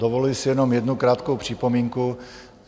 Dovoluji si jenom jednu krátkou připomínku.